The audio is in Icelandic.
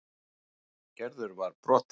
Gerður var brothætt.